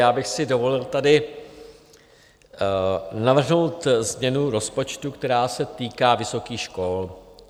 Já bych si dovolil tady navrhnout změnu rozpočtu, která se týká vysokých škol.